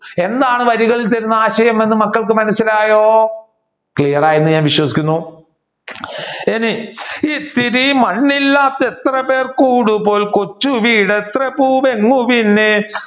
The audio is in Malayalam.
എന്താണ് വരികളിൽ തരുന്ന ആശയം എന്ന് മക്കൾക്ക് മനസിലായോ? clear ആയെന്ന് ഞാൻ വിശ്വസിക്കുന്നു. ഇനി ഇത്തിരി മണ്ണിലാത്ത എത്രപേർ കൂടുമ്പോൾ കൊച്ചു വീട്